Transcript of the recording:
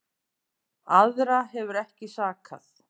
Aðra hefur ekki sakað